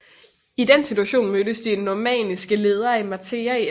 I den situation mødtes de normanniske ledere i Matera i efteråret 1042